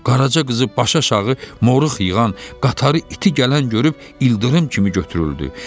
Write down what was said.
Qaraca qızı başıaşağı moruq yığan, qatarı iti gələn görüb ildırım kimi götürüldü.